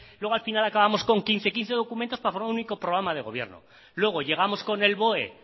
luego al final acabamos con quince quince documentos para formar un único programa de gobierno luego llegamos con el boe